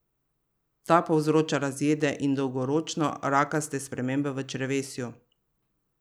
Ta povzroča razjede in dolgoročno rakaste spremembe v črevesju.